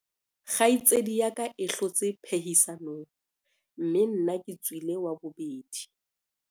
kgaitsedi ya ka e hlotse phehisanong mme nna ke tswile wa bobedi